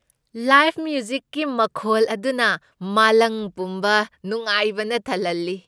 Live ꯃ꯭ꯌꯨꯖꯤꯛꯀꯤ ꯃꯈꯣꯜ ꯑꯗꯨꯅ ꯃꯥꯂꯪ ꯄꯨꯝꯕ ꯅꯨꯡꯉꯥꯏꯕꯅ ꯊꯜꯍꯜꯂꯤ ꯫